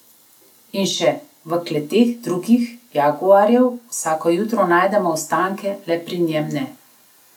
In še: "V kletkah drugih jaguarjev vsako jutro najdemo ostanke, le pri njem ne.